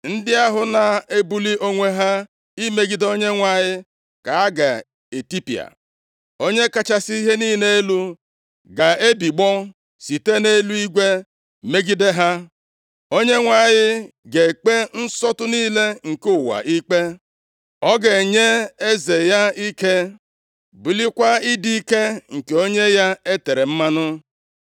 Ndị ahụ na-ebuli onwe ha imegide Onyenwe anyị ka a ga-etipịa. Onye kachasị ihe niile elu ga-ebigbọ site nʼeluigwe megide ha. Onyenwe anyị ga-ekpe nsọtụ niile nke ụwa ikpe. “Ọ ga-enye eze ya ike bulikwaa ịdị ike + 2:10 Maọbụ, mpi nke onye ya e tere mmanụ.”